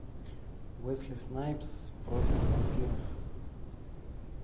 уэсли снайпс против вампиров